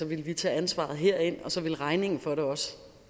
ville vi tage ansvaret herind og så ville regningen for det også